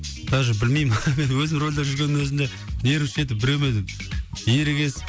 даже білмеймін өзім рөлде жүргеннің өзінде нервничать етіп біреумен ерегесіп